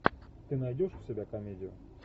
ты найдешь у себя комедию